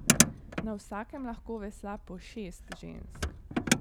Na vsakem lahko vesla po šest žensk.